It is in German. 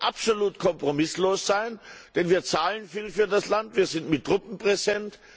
Da wollen wir absolut kompromisslos sein, denn wir zahlen viel für das Land, wir sind mit Truppen präsent.